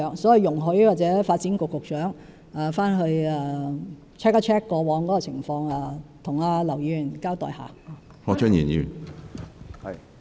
所以，請容許發展局局長回去查核一下過往的紀錄，再向劉議員交代。